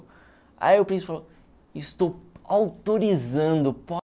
Aí o príncipe falou, estou autorizando